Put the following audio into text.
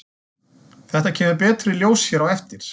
Þetta kemur betur í ljós hér á eftir.